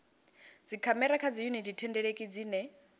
dzikhamera kha dziyuniti thendeleki dzine